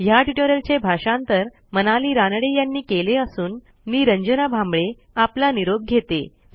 ह्या ट्युटोरियलचे भाषांतर मनाली रानडे यांनी केले असून मी रंजना भांबळे आपला निरोप घेते160